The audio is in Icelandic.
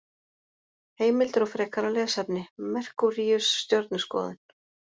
Heimildir og frekara lesefni: Merkúríus- Stjörnuskoðun.